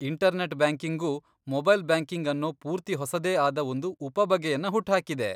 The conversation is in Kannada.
ಇಂಟರ್ನೆಟ್ ಬ್ಯಾಂಕಿಂಗು ಮೊಬೈಲ್ ಬ್ಯಾಂಕಿಂಗ್ ಅನ್ನೋ ಪೂರ್ತಿ ಹೊಸದೇ ಆದ ಒಂದು ಉಪಬಗೆಯನ್ನ ಹುಟ್ಹಾಕಿದೆ.